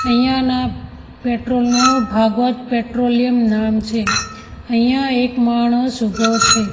અહીંયાના પેટ્રોલ નું ભાગવત પેટ્રોલયમ નામ છે અહીંયા એક માણસ ઉભો છે.